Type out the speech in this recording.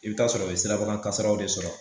I bɛ taa sɔrɔ u bɛ sirabaga kasaraw de sɔrɔ